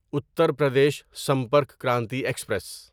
Uttar Pradesh Sampark Kranti express